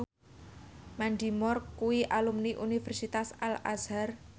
Mandy Moore kuwi alumni Universitas Al Azhar